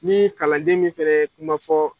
Ni kalanden min fɛnɛ ye kuma fɔ